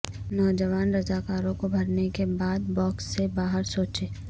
نوجوان رضاکاروں کو بھرنے کے بعد باکس سے باہر سوچیں